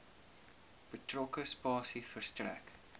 betrokke spasie verstrek